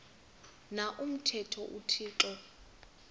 na umthetho uthixo